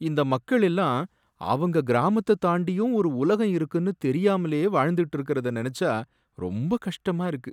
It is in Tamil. இந்த மக்கள் எல்லாம் அவங்க கிராமத்த தாண்டியும் ஒரு உலகம் இருக்குனு தெரியாமலே வாழ்ந்துட்டு இருக்கறத நனைச்சா ரொம்பக் கஷ்டமா இருக்கு